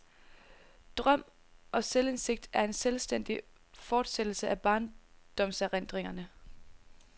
Drøm og selvindsigt er en selvstændig fortsættelse af barndomserindringerne.